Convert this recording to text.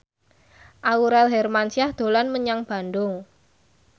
Aurel Hermansyah dolan menyang Bandung